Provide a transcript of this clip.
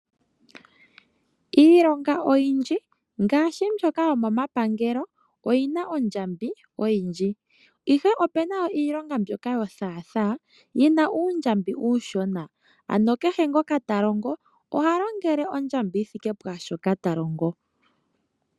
Iilonga oyindji ngaashi mbyoka yomomapangelo oyi na ondjambi oyindji, ihe opu na iilonga mbyoka yothaathaa yi na uundjambi uushona. Ano kehe ngoka ta longo oha longele ondjambi yi thike pwaa shoka ta longo.